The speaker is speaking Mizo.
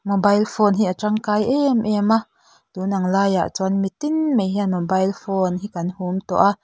mobile phone hi a tangkai em em a tun ang laiah chuan mitin mai hian mobile phone hi kan hum tawh a--